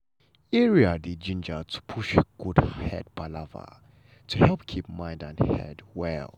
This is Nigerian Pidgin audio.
area dey gingered to push good head palava to helep keep mind and head well.